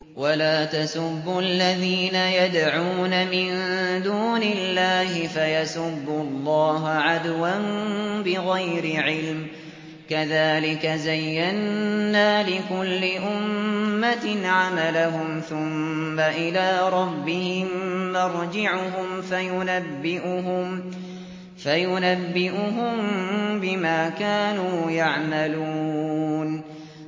وَلَا تَسُبُّوا الَّذِينَ يَدْعُونَ مِن دُونِ اللَّهِ فَيَسُبُّوا اللَّهَ عَدْوًا بِغَيْرِ عِلْمٍ ۗ كَذَٰلِكَ زَيَّنَّا لِكُلِّ أُمَّةٍ عَمَلَهُمْ ثُمَّ إِلَىٰ رَبِّهِم مَّرْجِعُهُمْ فَيُنَبِّئُهُم بِمَا كَانُوا يَعْمَلُونَ